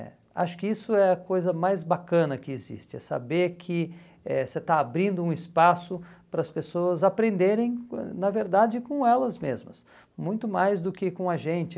é, acho que isso é a coisa mais bacana que existe, é saber que eh você está abrindo um espaço para as pessoas aprenderem, com na verdade, com elas mesmas, muito mais do que com a gente.